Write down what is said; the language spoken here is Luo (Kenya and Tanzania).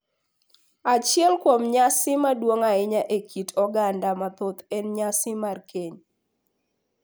Achiel kuom nyasi madongo ahinya e kit oganda mathoth en nyasi mar keny,